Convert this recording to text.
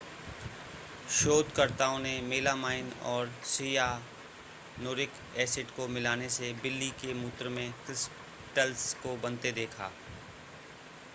शोधकर्ताओं ने मेलामाइन और सियानुरिक एसिड को मिलाने से बिल्ली के मूत्र में क्रिस्टल्स को बनते देखा